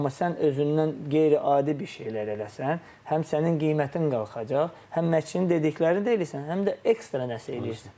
Amma sən özündən qeyri-adi bir şeylər eləsən, həm sənin qiymətin qalxacaq, həm məşqçinin dediklərini də eləyirsən, həm də ekstra nəsə eləyirsən.